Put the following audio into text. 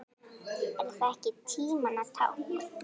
Er það ekki tímanna tákn?